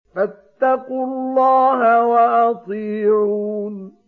فَاتَّقُوا اللَّهَ وَأَطِيعُونِ